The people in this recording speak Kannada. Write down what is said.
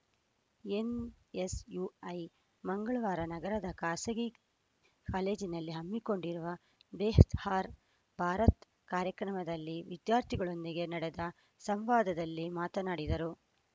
ಎನ್‌ಎಸ್‌ಯುಐ ಮಂಗಳವಾರ ನಗರದ ಖಾಸಗಿ ಕಾಲೇಜಿನಲ್ಲಿ ಹಮ್ಮಿಕೊಂಡಿದ್ದ ಬೆಹ್ತಾರ್‌ ಭಾರತ್‌ ಕಾರ್ಯಕ್ರಮದಲ್ಲಿ ವಿದ್ಯಾರ್ಥಿಗಳೊಂದಿಗೆ ನಡೆದ ಸಂವಾದದಲ್ಲಿ ಮಾತನಾಡಿದರು